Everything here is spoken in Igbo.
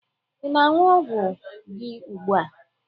ị na-aṅụ ọgwụ gị ugbu a?